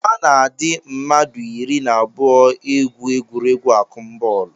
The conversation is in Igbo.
A na-adị mmadụ iri na abụọ egwu egwuregwu akụmbọọlụ